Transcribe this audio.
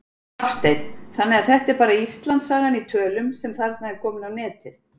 Hafsteinn: Þannig að þetta er bara Íslandssagan í tölum sem er þarna komin á netið?